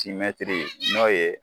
Timɛtiri n'o ye